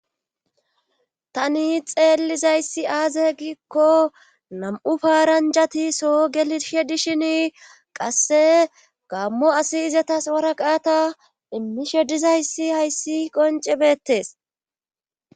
Tani xeelizayssi aaze giikko nam"u paaranjati soo gelishe dishin qasse gammo asi izatas waraqaata immishe dizayssi hayssi qoncce bettees.